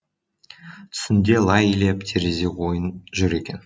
түсінде лай илеп терезе ойын жүр екен